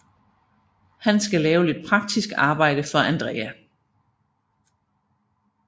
Han skal lave lidt praktisk arbejde for Andrea